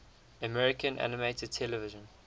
american animated television